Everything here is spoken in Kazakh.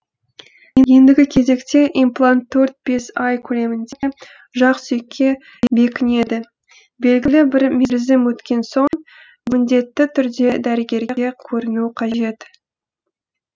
ендігі кезекте имплант төрт бес ай көлемінде жақ сүйекке бекінеді белгілі бір мерзім өткен соң міндетті түрде дәрігерге көріну қажет